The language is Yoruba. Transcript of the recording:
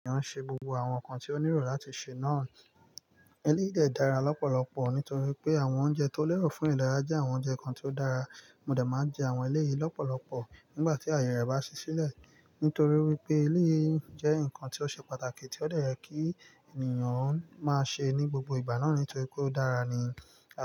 Ènìyàn ń ṣe gbogbo àwọn nǹkan tí ó nílò láti ṣe náà. Eléyìí de dàra lọ́pọ̀lọpọ̀ nítorí pé àwọn oúnjẹ tó lẹ́rọ̀ fún ìdárayá jẹ́ àwọn oúnjẹ kan tó dára. Mo dẹ máa jẹ àwọn eléyìí lọ́pọ̀lọpọ̀ nígbà tí àyè rẹ̀ bá ṣí sílẹ̀. Nítorí wípé eléyìí jẹ́ ǹkan tí ó ṣe pàtàkì tí ó ye kí ènìyàn máa ṣe ní gbogbo ìgbà náà nítorí pé ó dára ni.